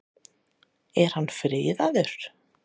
Er hann friðaður?